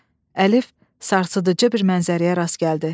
Əlif sarsıdıcı bir mənzərəyə rast gəldi.